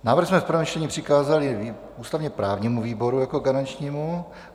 Návrh jsme v prvém čtení přikázali ústavně-právnímu výboru jako garančnímu.